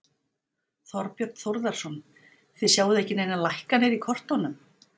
Þorbjörn Þórðarson: Þið sjáið ekki neinar lækkanir í kortunum?